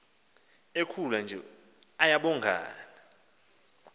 ekhula nje ayabongana